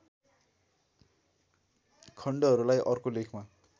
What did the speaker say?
खण्डहरुलाई अर्को लेखमा